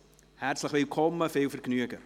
Herzlich willkommen und viel Vergnügen!